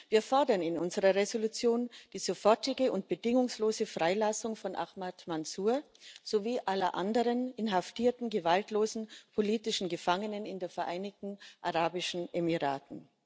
Wir fordern in unserer Entschließung die sofortige und bedingungslose Freilassung von Ahmad Mansur sowie aller anderen inhaftierten gewaltlosen politischen Gefangenen in den Vereinigten Arabischen Emiraten.